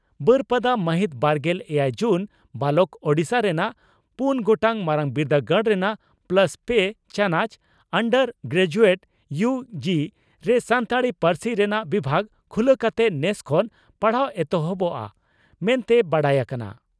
ᱵᱟᱹᱨᱯᱟᱫᱟ ᱢᱟᱹᱦᱤᱛ ᱵᱟᱨᱜᱮᱞ ᱮᱭᱟᱭ ᱡᱩᱱ (ᱵᱟᱞᱚᱠ) ᱺ ᱳᱰᱤᱥᱟ ᱨᱮᱱᱟᱜ ᱯᱩᱱ ᱜᱚᱴᱟᱝ ᱢᱟᱨᱟᱝ ᱵᱤᱨᱫᱟᱹᱜᱟᱲ ᱨᱮᱱᱟᱜ ᱯᱞᱟᱥ ᱯᱮ ᱪᱟᱱᱚᱪ ᱟᱱᱰᱟᱨ ᱜᱨᱮᱡᱩᱭᱮᱴ ᱤᱭᱩ ᱜᱤ ) ᱨᱮ ᱥᱟᱱᱛᱟᱲᱤ ᱯᱟᱹᱨᱥᱤ ᱨᱮᱱᱟᱜ ᱵᱤᱵᱷᱟᱜᱽ ᱠᱷᱩᱞᱟᱹ ᱠᱟᱛᱮ ᱱᱮᱥ ᱠᱷᱚᱱ ᱯᱟᱲᱦᱟᱣ ᱮᱦᱚᱵᱚᱜᱼᱟ ᱢᱮᱱᱛᱮ ᱵᱟᱰᱟᱭ ᱟᱠᱟᱱᱟ ᱾